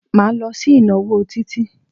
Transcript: Máa lọ sí ìnáwó Títí.